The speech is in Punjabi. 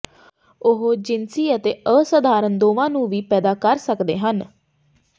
ਉਹ ਜਿਨਸੀ ਅਤੇ ਅਸਾਧਾਰਣ ਦੋਵਾਂ ਨੂੰ ਵੀ ਪੈਦਾ ਕਰ ਸਕਦੇ ਹਨ